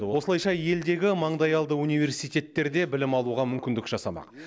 осылайша елдегі маңдайалды университеттерде білім алуға мүмкіндік жасамақ